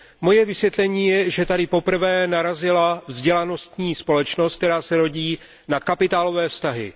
Moje vysvětlení je, že tady poprvé narazila vzdělanostní společnost, která se rodí, na kapitálové vztahy.